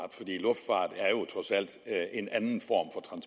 er en anden form